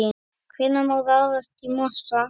Hvenær má ráðast í mosann?